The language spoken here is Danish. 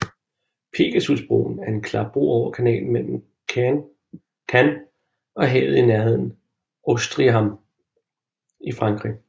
Pegasusbroen er en klapbro over kanalen mellem Caen og havet i nærheden af Ouistreham i Frankrig